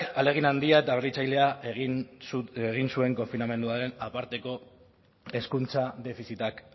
ahalegin handia eta berritzailea egin zuen konfinamenduaren aparteko hezkuntza defizitak